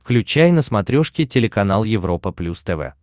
включай на смотрешке телеканал европа плюс тв